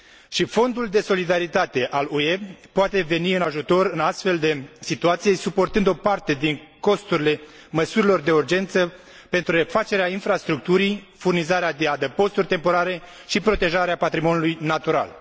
Și Fondul de solidaritate al UE poate veni în ajutor în astfel de situație, suportând o parte din costurile măsurilor de urgență pentru refacerea infrastructurii, furnizarea de adăposturi temporare și protejarea patrimoniului natural.